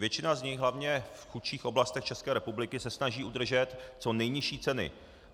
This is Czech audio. Většina z nich, hlavně v chudších oblastech České republiky, se snaží udržet co nejnižší ceny.